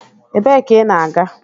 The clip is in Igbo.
Ebee ka ị na-aga?